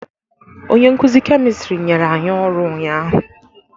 Onye nkuzi kemistri nyere anyị ọrụ ụnyaahụ.